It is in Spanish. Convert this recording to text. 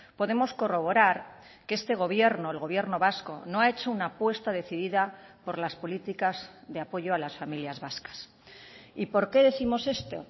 podemos corroborar que este gobierno el gobierno vasco no ha hecho una apuesta decidida por las políticas de apoyo a las familias vascas y por qué décimos esto